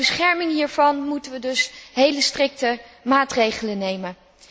Ter bescherming hiervan moeten we dus hele strikte maatregelen nemen.